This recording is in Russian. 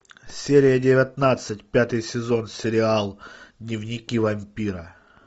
серия девятнадцать пятый сезон сериал дневники вампира